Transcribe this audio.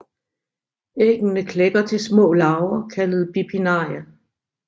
Æggene klækker til små larver kaldet bipinnaria